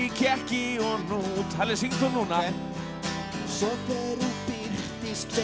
kekki og hnút halli syngdu núna svo þegar